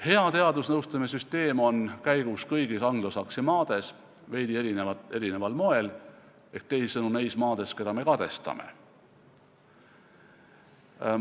Hea teadusnõustamise süsteem on käigus kõigis anglosaksi maades, veidi erineval moel, ehk teisisõnu neis maades, keda me kadestame.